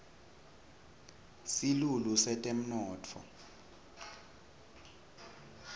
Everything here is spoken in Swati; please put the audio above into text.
silulu setemnotfo